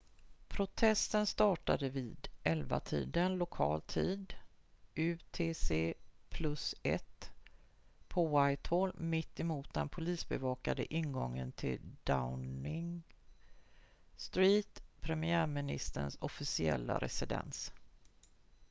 protesten startade vid 11-tiden lokal tid utc+1 på whitehall mitt emot den polisbevakade ingången till downing street premiärministerns officiella residens